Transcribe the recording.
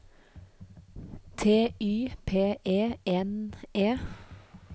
T Y P E N E